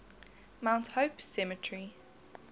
mount hope cemetery